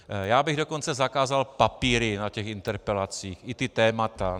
Já bych dokonce zakázal papíry na těch interpelacích, i ta témata.